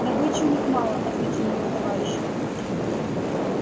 добычи у них мало ответил его товарищ